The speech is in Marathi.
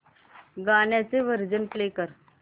गाण्याचे व्हर्जन प्ले कर